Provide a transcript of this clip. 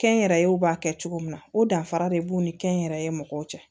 Kɛnyɛrɛyew b'a kɛ cogo min na o danfara de b'u ni kɛnyɛrɛye mɔgɔw cɛ